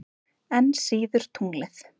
Enn síður tunglið.